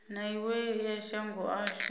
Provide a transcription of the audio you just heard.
na iwe ya shango ashu